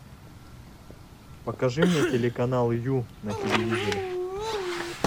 покажи мне телеканал ю на телевизоре